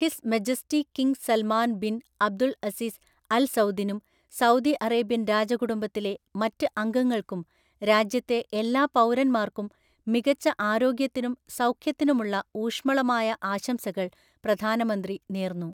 His majesty king Salman bin Abdul Aziz Al സൗദിനും Saudi Arabian രാജകുടുംബത്തിലെ മറ്റ് അംഗങ്ങൾക്കും രാജ്യത്തെ എല്ലാ പൗരന്മാർക്കും മികച്ച ആരോഗ്യത്തിനും സൗഖ്യത്തിനുമുള്ള ഊഷ്മളമായ ആശംസകൾ പ്രധാനമന്ത്രി നേർന്നു .